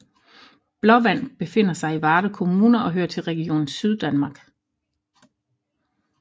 Blåvand befinder sig i Varde Kommune og hører til Region Syddanmark